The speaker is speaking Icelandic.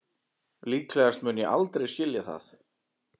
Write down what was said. Líklegast mun ég aldrei skilja það